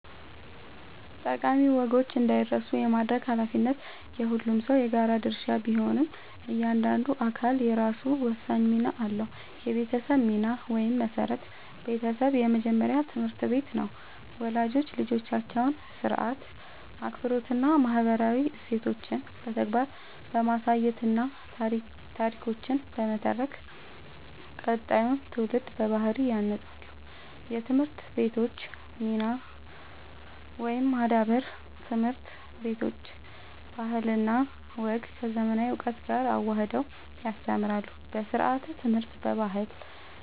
ጠቃሚ ወጎች እንዳይረሱ የማድረግ ኃላፊነት የሁሉም ሰው የጋራ ድርሻ ቢሆንም፣ እያንዳንዱ አካል የራሱ ወሳኝ ሚና አለው፦ የቤተሰብ ሚና (መሠረት)፦ ቤተሰብ የመጀመሪያው ትምህርት ቤት ነው። ወላጆች ልጆቻቸውን ሥርዓት፣ አክብሮትና ማህበራዊ እሴቶችን በተግባር በማሳየትና ታሪኮችን በመተረክ ቀጣዩን ትውልድ በባህል ያንጻሉ። የትምህርት ቤቶች ሚና (ማዳበር)፦ ትምህርት ቤቶች ባህልና ወግን ከዘመናዊ እውቀት ጋር አዋህደው ያስተምራሉ። በስርዓተ-ትምህርት፣ በባህል